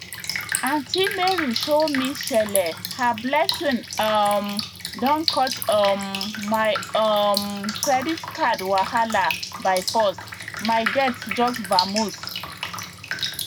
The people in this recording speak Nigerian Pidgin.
aunty mary show me shele her blessing um don cut um my um credit card wahala by force my debt just vamoose